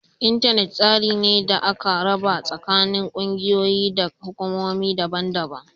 Intanet tsari ne da aka raba tsakanin kungiyoyi da hukumomi daban-daban